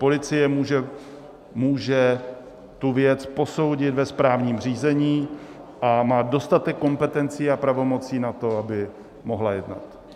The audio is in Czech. Policie může tu věc posoudit ve správním řízení a má dostatek kompetencí a pravomocí na to, aby mohla jednat.